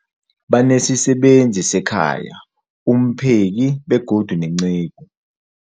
Banesisebenzi sekhaya, umpheki, begodu nenceku.